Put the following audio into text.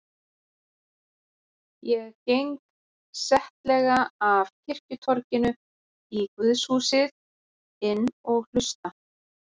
Ég geng settlega af kirkjutorginu í guðshúsið inn og hlusta.